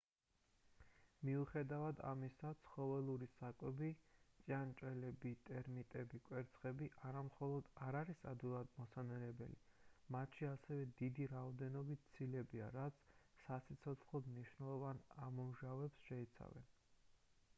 მიუხედავად ამისა ცხოველური საკვები ჭიანჭველები ტერმიტები კვერცხები არა მხოლოდ არ არის ადვილად მოსანელებელი მათში ასევე დიდი რაოდენობით ცილებია რაც საციცოცხლოდ მნიშვნელოვან ამინომჟავებს შეიცავენ